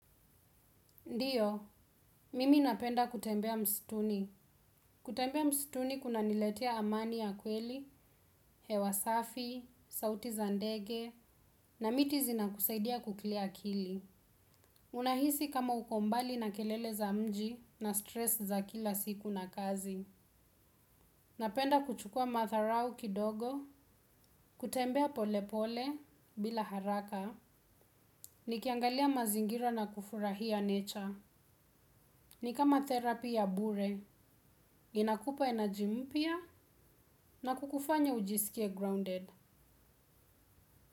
Ndiyo, mimi napenda kutembea mstuni. Kutembea msituni kuna niletea amani ya kweli, hewa safi, sauti zandege, na miti zinakusaidia kukilia kili. Unahisi kama uko mbali na kelele za mji na stress za kila siku na kazi. Napenda kuchukua matharau kidogo, kutembea pole pole, bila haraka, ni kiangalia mazingira na kufurahia nature. Ni kama therapy ya bure, inakupa energy mpya na kukufanya ujisikie grounded.